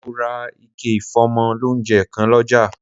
Mo ra ike ìfómọ lóunjẹ kan lọ́jà